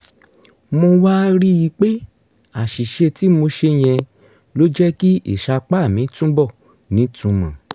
mo wá rí i pé àṣìṣe tí mo ṣe yẹn ló jẹ́ kí ìsapá mi túbọ̀ nítumọ̀